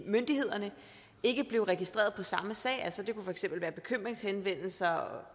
myndighederne ikke blev registreret på samme sag det kunne for eksempel være bekymringshenvendelser